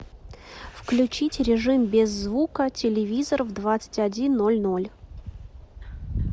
включить режим без звука телевизор в двадцать один ноль ноль